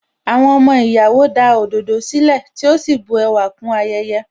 Àwọn ọmọ ìyàwó da òdòdó sílẹ̀, tí ó sì bu ẹwà kún ayẹyẹ.